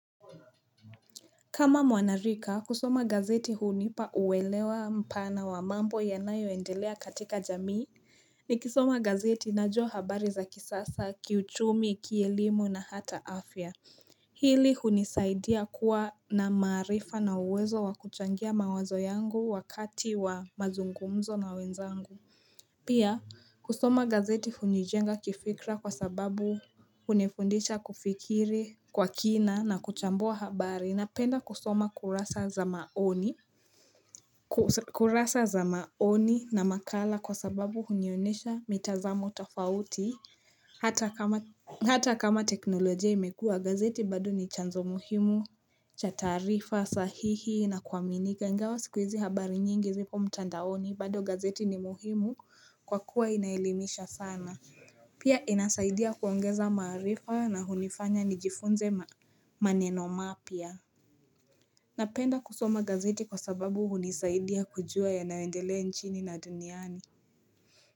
Kama mwanarika kusoma gazeti hunipa uelewa mpana wa mambo yanayoendelea katika jamii nikisoma gazeti, najua habari za kisiasa, kiuchumi, kielimu, na hata afya hili hunisaidia kuwa na maarifa na uwezo wa kuchangia mawazo yangu wakati wa mazungumzo na wenzangu. Pia kusoma gazeti hunijenga kifikra kwa sababu hunifundisha kufikiri kwa kina na kuchambua habari, napenda kusoma kurasa za maoni kurasa za maoni na makala kwa sababu hunionesha mitazamo tafauti. Hata kama teknolojia imekua, gazeti badu ni chanzo muhimu cha taarifa sahihi na kuaminika ingawa siku hizi habari nyingi zipo mtandaoni, bado gazeti ni muhimu kwa kuwa inaelimisha sana. Pia inasaidia kuongeza marifa na hunifanya nijifunze maneno mapya. Napenda kusoma gazeti kwa sababu hunisaidia kujua ya nawendelea nchini na duniani.